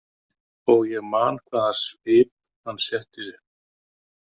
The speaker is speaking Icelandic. Og ég man hvaða svip hann setti upp.